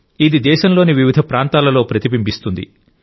ఇది దేశంలోని వివిధ ప్రాంతాలలో ప్రతిబింబిస్తుంది